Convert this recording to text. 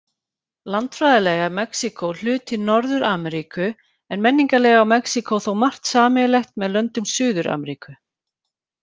Landfræðilega er Mexíkó hluti Norður-Ameríku, en menningarlega á Mexíkó þó margt sameiginlegt með löndum Suður-Ameríku.